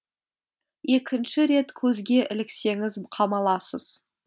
екінші рет көзге іліксеңіз қамаласыз